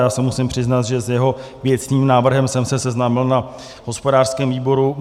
Já se musím přiznat, že s jeho věcným návrhem jsem se seznámil na hospodářském výboru.